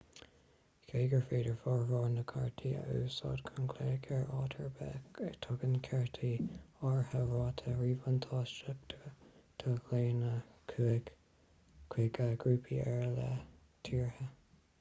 cé gur féidir formhór na gcártaí a úsáid chun glaoch ar áit ar bith tugann cártaí áirithe rátaí ríbhuntáisteacha do ghlaonna chuig grúpaí ar leith tíortha